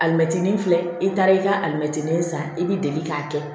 Alimɛtinin filɛ i taara i ka alimɛtinin san i b'i deli k'a kɛ